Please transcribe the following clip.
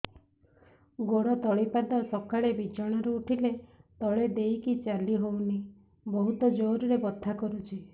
ଗୋଡ ତଳି ପାଦ ସକାଳେ ବିଛଣା ରୁ ଉଠିଲେ ତଳେ ଦେଇକି ଚାଲିହଉନି ବହୁତ ଜୋର ରେ ବଥା କରୁଛି